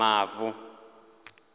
mavu